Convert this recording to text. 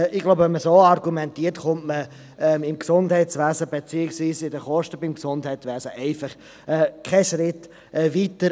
Wenn man bei den Kosten im Gesundheitswesen so argumentiert, kommt man keinen Schritt weiter.